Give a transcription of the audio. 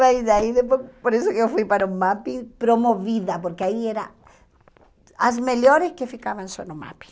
Mas aí depois, por isso que eu fui para o Mapping, promovida, porque aí eram as melhores que ficavam só no Mapping.